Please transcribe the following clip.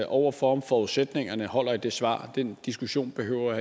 over for om forudsætningerne holder i det svar den diskussion behøver